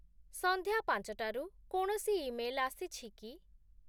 ସନ୍ଧ୍ୟା ୫ଟାରୁ କୌଣସି ଇମେଲ୍ ଆସିଛି କି?